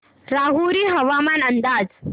राहुरी हवामान अंदाज